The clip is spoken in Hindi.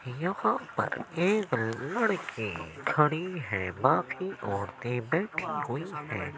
यहां पर एक लड़की खड़ी हैे। बाकी औरतें बैठी हुई हैैं।